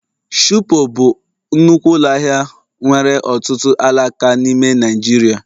Shupo bụ nnukwu ụlọ ahịa nwere ọtụtụ alaka n'ime Naijiria